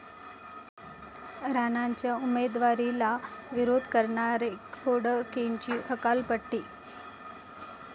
राणांच्या उमेदवारीला विरोध करणारे खोडकेंची हकालपट्टी